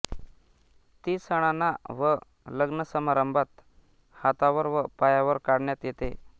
ती संणाना व लग्नसमारंभात हातावर व पायांवर काढण्यात येते